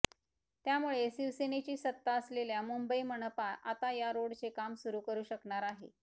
त्यामुळे शिवसेनेची सत्ता असलेल्या मुंबई मनापा आता या रोडचे काम सुरु करू शकणार आहे